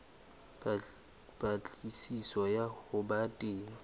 patlisiso ya ho ba teng